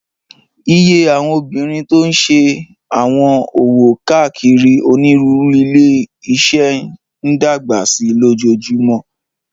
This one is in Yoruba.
Iye àwọn obìnrin tó n ṣe àwọn òwò káàkiri onírúurú ilé-iṣẹ́ n dàgbà sí lójoojúmó